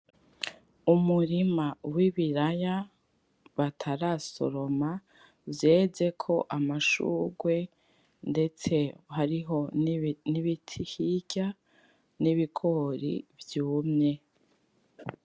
Umurima w’ibiraya batarasoroma vyezeko amashurwe ndetse hariho n’ibiti hirya n’ibigori vyumye.